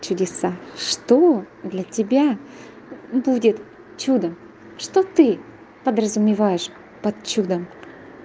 чудеса что для тебя будет чудо что ты подразумеваешь под чудом